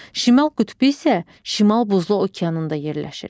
Şimal qütbü isə şimal buzlu okeanında yerləşir.